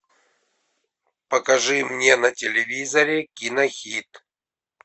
покажи мне на телевизоре кинохит